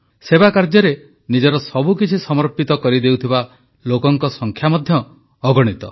ସେବାକାର୍ଯ୍ୟରେ ନିଜର ସବୁକିଛି ସମର୍ପିତ କରିଦେଉଥିବା ଲୋକଙ୍କ ସଂଖ୍ୟା ମଧ୍ୟ ଅଗଣିତ